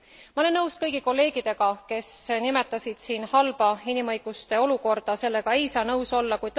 Ma olen nõus kõigi kolleegidega, kes nimetasid siin halba inimõiguste olukorda, sellega ei saa nõus olla.